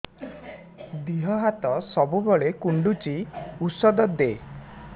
ଦିହ ହାତ ସବୁବେଳେ କୁଣ୍ଡୁଚି ଉଷ୍ଧ ଦେ